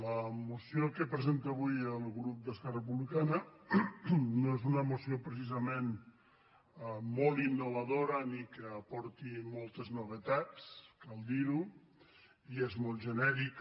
la moció que presenta avui el grup d’esquerra republicana no és una moció precisament molt innovadora ni que aporti moltes no·vetats cal dir·ho i és molt genèrica